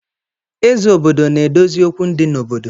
Eze obodo na-edozi okwu di n’obodo